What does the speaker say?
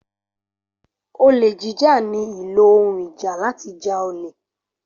Olè jíjà ní ílo ohùn ìjà láti já olè.